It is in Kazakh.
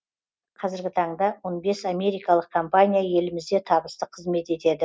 қазіргі таңда он бес америкалық компания елімізде табысты қызмет етеді